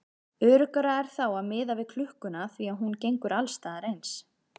Öruggara er þá að miða við klukkuna því að hún gengur alls staðar eins.